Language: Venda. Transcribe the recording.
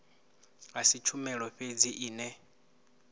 a si tshumelo fhedzi ine